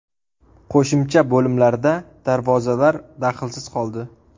Qo‘shimcha bo‘limlarda darvozalar daxlsiz qoldi.